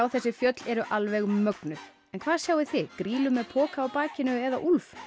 þessi fjöll er alveg mögnuð en hvað sjáið þið grýlu með poka á bakinu eða úlf